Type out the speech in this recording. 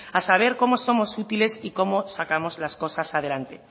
a saber cómo somos útiles y cómo sacamos las cosas adelante